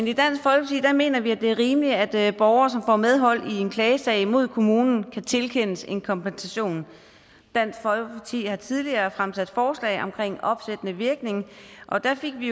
i dansk folkeparti mener vi at det er rimeligt at borgere som får medhold i en klagesag mod kommunen kan tilkendes en kompensation dansk folkeparti har tidligere fremsat forslag om opsættende virkning og der fik vi